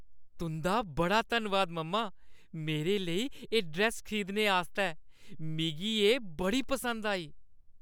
तुंʼदा बड़ा धन्नवाद, मम्मा! मेरे लेई एह् ड्रैस्स खरीदने आस्तै, मिगी एह् बड़ी पसंद आई।